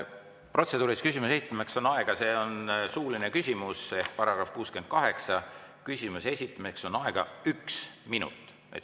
Protseduuriline küsimus on suuline küsimus, § 68 järgi on selle esitamiseks aega üks minut.